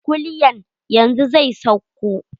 Kulyan yanzu zai sauko.